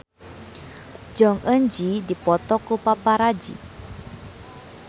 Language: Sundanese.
Jong Eun Ji dipoto ku paparazi